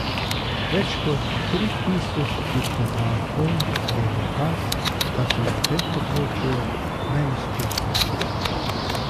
Več kot tri tisoč diplomantov je dokaz, da so na tem področju najuspešnejši.